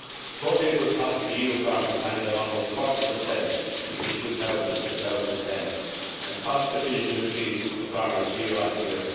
Total input costs for EU farmers rose by almost 40 between 2000 and 2010 and costs continue to increase for farmers year on year.